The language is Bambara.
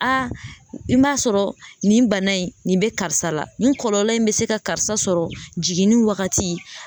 A i b'a sɔrɔ nin bana in nin bɛ karisa la nin kɔlɔlɔ in bɛ se ka karisa sɔrɔ jiginni wagati